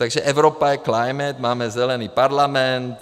Takže Evropa je climate, máme zelený parlament.